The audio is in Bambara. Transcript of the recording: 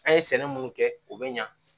An ye sɛnɛ minnu kɛ u bɛ ɲa